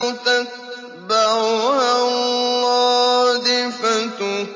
تَتْبَعُهَا الرَّادِفَةُ